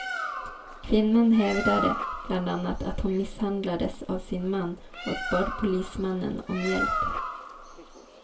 Kvinnan hävdade bland annat att hon misshandlades av sin man och bad polismannen om hjälp.